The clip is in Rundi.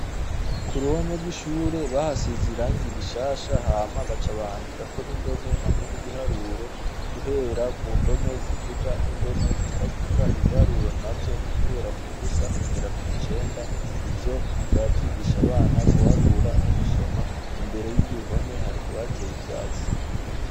Kuruhome rw'ishuri bahasize irangi rishasha hama baca bahandikako n'indome hamwe n'ibiharuro guhera ku ndome zivuga n'indome zitavuga ibiharuro navyo n'uguhera kuva ku busa kugera kw'icenda ivyo navyo bikaba vyigisha abana guharura no gusoma imbere yuruhome hakaba hateye ivyatsi.